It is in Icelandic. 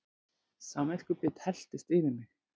Samviskubit helltist yfir mig.